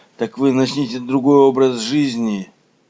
так вы начните другой образ жизни